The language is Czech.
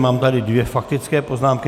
Mám tady dvě faktické poznámky.